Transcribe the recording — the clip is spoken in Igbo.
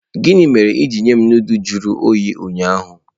Gini mere i jiri nye m nudulu jụrụ oyi ụnyaahụ?